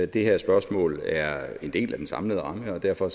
det her spørgsmål er en del af den samlede ramme og derfor